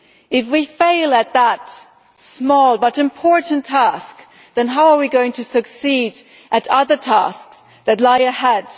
If we fail in that small but important task, then how are we going to succeed in other tasks that lie ahead?